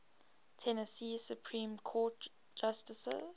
tennessee supreme court justices